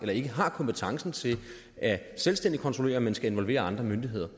har kompetencen til selvstændigt at kontrollere men skal involvere andre myndigheder